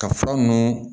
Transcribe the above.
Ka fura ninnu